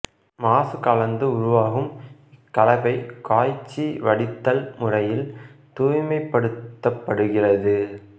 மாசு கலந்து உருவாகும் இக்கலவை காய்ச்சி வடித்தல் முறையில் தூய்மைப்படுத்தப்படுகிறது